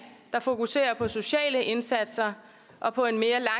der fokuserer på sociale indsatser og på